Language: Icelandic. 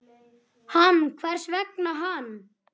Hann, hvers vegna hann?